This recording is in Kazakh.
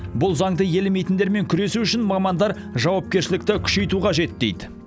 бұл заңды елемейтіндермен күресу үшін мамандар жауапкершілікті күшейту қажет дейді